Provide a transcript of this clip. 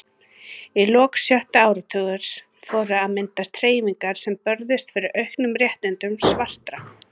Í lok sjötta áratugarins fóru að myndast hreyfingar sem börðust fyrir auknum réttindum svartra.